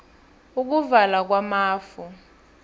ukuvala kwamafu